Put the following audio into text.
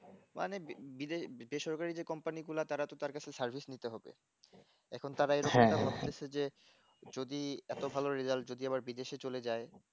মানে বি বিদেশ বেসরকারি যে company গোলা তারা কেউ তার কাছে service নিতে হবে এখন তারা এই রকম বলতেছে যে যদি এত ভাল রেজাল্ট যদি আবার বিদেশে চলে যায়